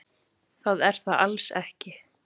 Það er það alls ekki.